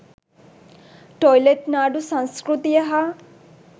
toilet නාඩු සංස්කෟතිය හා